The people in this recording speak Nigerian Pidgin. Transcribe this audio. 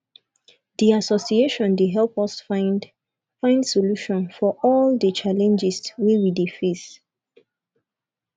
di association dey help us find find solution for all di challenges wey we dey face